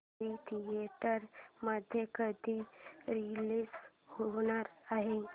movie theatre मध्ये कधी release होणार आहे